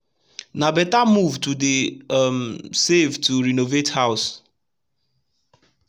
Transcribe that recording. na beta move to dey um save to renovate house